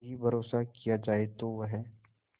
भी भरोसा किया जाए तो वह